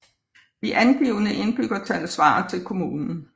De angivne indbyggertal svarer til kommunen